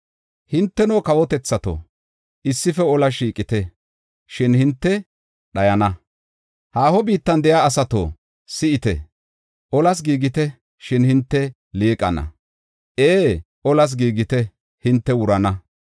Hinteno kawotethato, issife olas shiiqite, shin hinte dhayana. Haaho biittan de7iya asato, si7ite; olas giigite; shin hinte liiqana! Ee, olas giigite; hinte wurana.